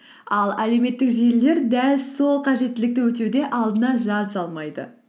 ал әлеуметтік желілер дәл сол қажеттілікті өтеуде алдына жан салмайды